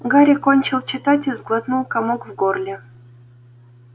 гарри кончил читать и сглотнул комок в горле